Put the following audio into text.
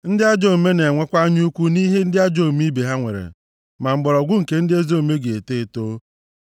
Ndị ajọ omume na-enwekwa anya ukwu nʼihe ndị ajọ omume ibe ha nwere, ma mgbọrọgwụ nke ndị ezi omume ga-eto eto.